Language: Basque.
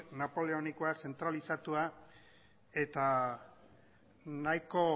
napoleonikoa zentralizatua eta nahiko